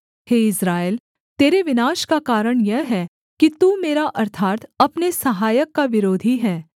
हे Israel तेरे विनाश का कारण यह है कि तू मेरा अर्थात् अपने सहायक का विरोधी है